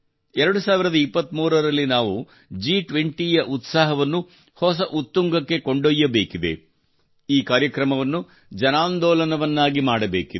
2023 ರಲ್ಲಿ ನಾವು G20 ಯ ಉತ್ಸಾಹವನ್ನು ಹೊಸ ಉತ್ತುಂಗಕ್ಕೆ ಕೊಂಡೊಯ್ಯಬೇಕಿದೆ ಈ ಕಾರ್ಯಕ್ರಮವನ್ನು ಜನಾಂದೋಲನವನ್ನಾಗಿ ಮಾಡಬೇಕಿದೆ